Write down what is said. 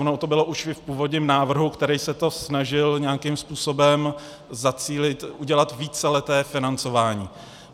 Ono to bylo už i v původním návrhu, který se to snažil nějakým způsobem zacílit, udělat víceleté financování.